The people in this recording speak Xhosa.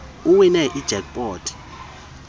uwine ijack pot